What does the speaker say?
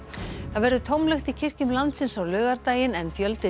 það verður tómlegt í kirkjum landsins á laugardaginn en fjöldi